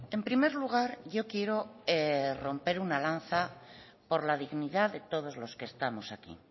en primer lugar yo quiero romper una lanza por la dignidad de todos los que estamos aquí